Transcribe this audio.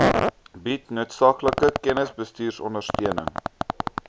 bied noodsaaklike kennisbestuurondersteuning